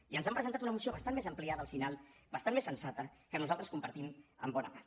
i ens han presentat una moció bastant més ampliada al final bastant més sensata que nosaltres compartim en bona part